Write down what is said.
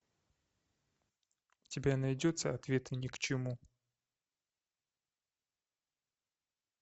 у тебя найдется ответы ни к чему